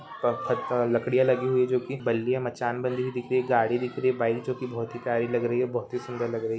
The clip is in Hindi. पत्थर का लकड़ियां लगी हुई है जो की बल्लियां मचान बंधी हुई दिख रही हैं गाड़ी दिख रही है बाईक जो की बहुत ही प्यारी लग रही है बहुत ही सुन्दर लग रही है।